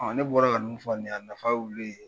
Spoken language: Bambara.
Ne bɔra ka ninnu fɔ nin ye a nafa y'olu de ye